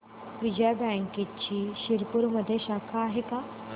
विजया बँकची शिरपूरमध्ये शाखा आहे का